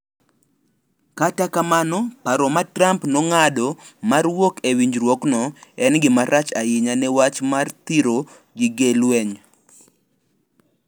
Kata kamano, paro ma Trump nong'ado mar wuok e winjruokno en gimarach ahinya ne wach mar thiro gige lweny.